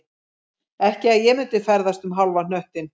Ekki að ég myndi ferðast um hálfan hnöttinn